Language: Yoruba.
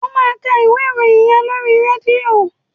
Ó máa ka ìwé ìròyìn yẹn lóri rédíò.